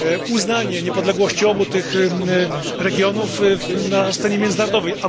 uznanie niepodległości obu tych regionów na scenie międzynarodowej.